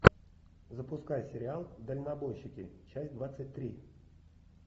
запускай сериал дальнобойщики часть двадцать три